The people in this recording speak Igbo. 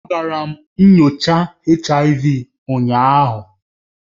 Agara m nyocha HIV ụnyaahụ